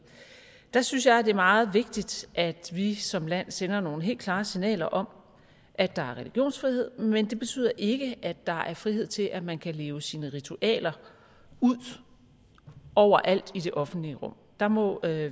der synes jeg at det er meget vigtigt at vi som land sender nogle helt klare signaler om at der er religionsfrihed men det betyder ikke at der er frihed til at man kan leve sine ritualer ud overalt i det offentlige rum der må